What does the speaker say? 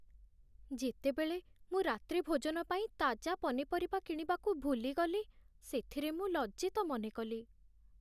ଯେତେବେଳେ ମୁଁ ରାତ୍ରିଭୋଜନ ପାଇଁ ତାଜା ପନିପରିବା କିଣିବାକୁ ଭୁଲିଗଲି, ସେଥିରେ ମୁଁ ଲଜ୍ଜିତ ମନେକଲି।